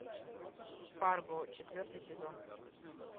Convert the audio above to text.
фарго четвертый сезон